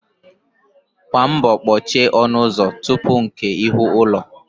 Gba mbọ kpochie ọnụ ụzọ tupu nkè ihu ụlọ